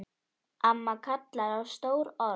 Amma kallar á stór orð.